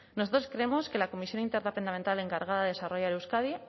nosotros creemos que la comisión interdepartamental encargada de desarrollar euskadi